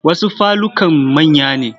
Wasu falukan manya ne.